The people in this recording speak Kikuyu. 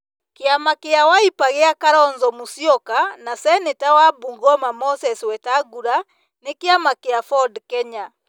Kĩama gĩa Wiper gĩa Kalonzo Musyoka na Seneta wa Bungoma Moses Wetangula na kĩama gĩa Ford Kenya.